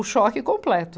O choque completo.